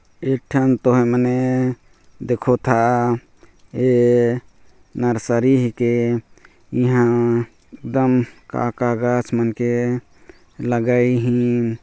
एक ठो तोह मने देखो था ए नर्सरी के ईहा डैम का-का दछ मन के लगई हिन--